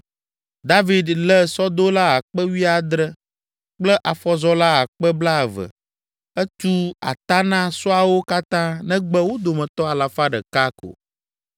David lé sɔdola akpe wuiadre (17,000) kple afɔzɔla akpe blaeve (20,000), etu ata na sɔawo katã negbe wo dometɔ alafa ɖeka ko.